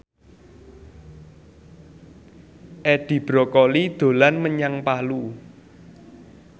Edi Brokoli dolan menyang Palu